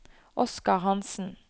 Oskar Hansen